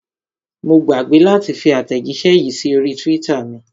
Mo gbàgbé láti fi àtẹ̀jíṣẹ́ yìí sí orí twitter mi.